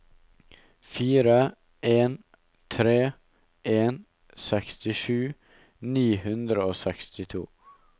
fire en tre en sekstisju ni hundre og sekstito